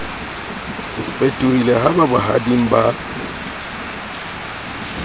fetohile ha ba bohading ba